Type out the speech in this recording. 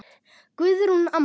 Guðrún amma.